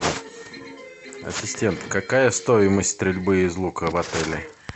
ассистент какая стоимость стрельбы из лука в отеле